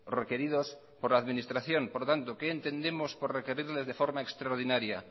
requeridos por la administración por lo tanto qué entendemos por requerirles de forma extraordinaria